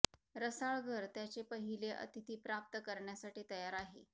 रसाळ घर त्याचे पहिले अतिथी प्राप्त करण्यासाठी तयार आहे